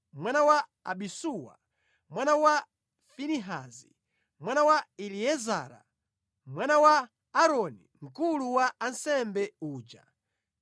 mwana wa Abisuwa, mwana wa Finehasi, mwana wa Eliezara, mwana wa Aaroni mkulu wa ansembe uja.